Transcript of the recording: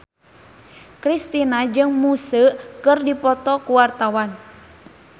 Kristina jeung Muse keur dipoto ku wartawan